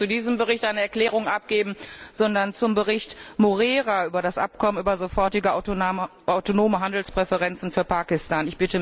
Ich möchte nicht zu diesem Bericht eine Erklärung abgeben, sondern zum Bericht Moreira über das Abkommen über sofortige autonome Handelspräferenzen für Pakistan.